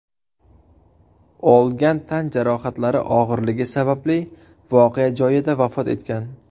olgan tan jarohatlari og‘irligi sababli voqea joyida vafot etgan.